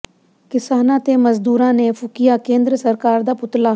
ਕਿਸਾਨਾਂ ਤੇ ਮਜ਼ਦੂਰਾਂ ਨੇ ਫੂਕਿਆ ਕੇਂਦਰ ਸਰਕਾਰ ਦਾ ਪੁਤਲਾ